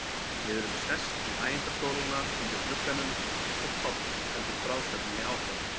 Við erum sest í hægindastólana undir glugganum og Páll heldur frásögninni áfram.